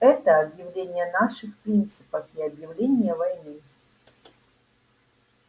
это объявление наших принципов и объявление войны